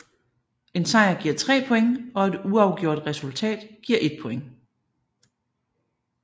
En sejr giver 3 point og et uafgjort resultat giver 1 point